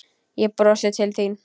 Ég brosi til þín.